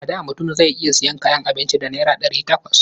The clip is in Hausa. A da mutum zai iya sayan kayan abinci da naira ɗari takwas.